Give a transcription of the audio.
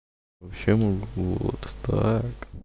вообще могу вот так